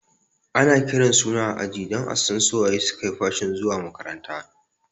Ana kiran suna a aji don asan su waye suke fashin zuwa makaranta